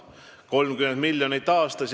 See teeb 30 miljonit aastas.